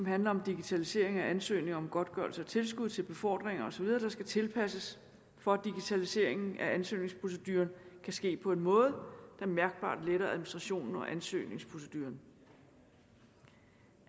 handler om digitalisering af ansøgninger om godtgørelse af tilskud til befordringer osv der skal tilpasses for at digitaliseringen af ansøgningsprocedurer kan ske på en måde der mærkbart letter administrationen og ansøgningsproceduren